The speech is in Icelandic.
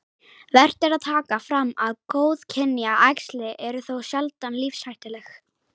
Vert er að taka fram að góðkynja æxli eru þó sjaldan lífshættuleg.